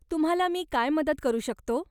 तुम्हाला मी काय मदत करू शकतो ?